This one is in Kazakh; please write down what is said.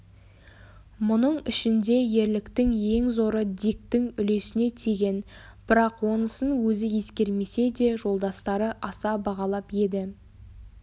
мұның ішінде ерліктің ең зоры диктің үлесіне тиген бірақ онысын өзі ескермесе де жолдастары аса бағалап еді